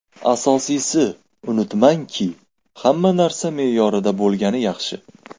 Asosiysi, unutmangki, hamma narsa me’yorida bo‘lgani yaxshi.